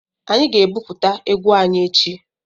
Anyị ga-ebuputa égwu anyị echi.